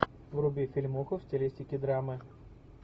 вруби фильмуху в стилистике драмы